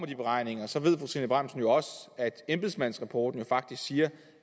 de beregninger så ved fru trine bramsen jo også at embedsmandsrapporten faktisk siger